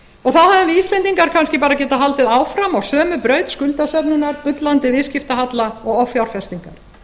og þá hefðu íslendingar kannski getað haldið áfram á sömu braut skuldasöfnunar bullandi viðskiptahalla og offjárfestingar